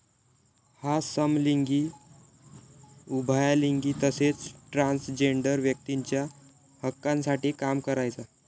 हा समलिंगी, उभायालिंगी तसेच ट्रान्सजेन्डर व्यक्तींच्या हक्कांसाठी काम करायचा